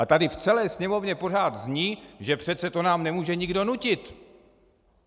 A tady v celé Sněmovně pořád zní, že přece to nám nemůže nikdo nutit.